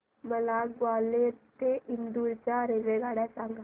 मला ग्वाल्हेर ते इंदूर च्या रेल्वेगाड्या सांगा